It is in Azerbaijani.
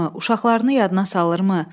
Uşaqlarını yadına salırmı?